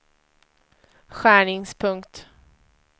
skärningspunkt